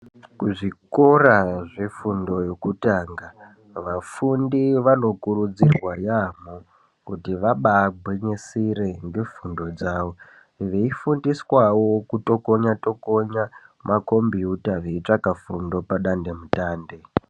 Kuzvikora zvefundo yokutanga, vafundi vanokurudzirwa yaamho kuti vabaagwinyisire ngefundo dzavo. Veifundiswawo kutokonya-tokonya makombiyuta veitsvaka fundo padandemutande.